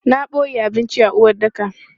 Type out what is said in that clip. Na boye abinci a uwaɗɗaka.